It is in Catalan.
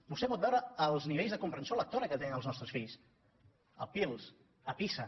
vostè pot veure els nivells de comprensió lecto·ra que tenen els nostres fills al pirls al pisa